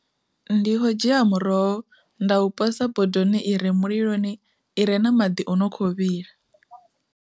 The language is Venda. Ndi kho dzhia muroho nda u posa bodoni i re muliloni ire na maḓi o no kho vhila.